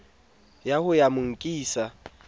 wa ho ya mo nkisa